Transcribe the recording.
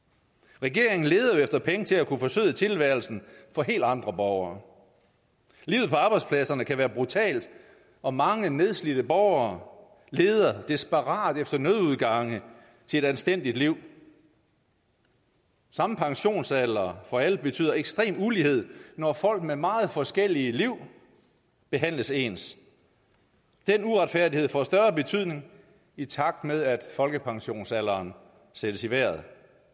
regeringen leder jo efter penge til at kunne forsøde tilværelsen for helt andre borgere livet på arbejdspladserne kan være brutalt og mange nedslidte borgere leder desperat efter nødudgange til et anstændigt liv samme pensionsalder for alle betyder ekstrem ulighed når folk med meget forskellige liv behandles ens den uretfærdighed får større betydning i takt med at folkepensionsalderen sættes i vejret